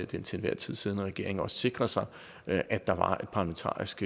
den til enhver tid siddende regering også sikret sig at at der var parlamentarisk